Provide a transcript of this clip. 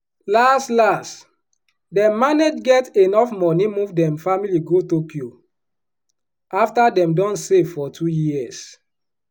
las las dem manage get enuf moni move dem family go tokyo afta dem don save for two years.